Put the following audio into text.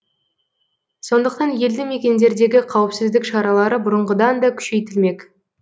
сондықтан елді мекендердегі қауіпсіздік шаралары бұрынғыдан да күшейтілмек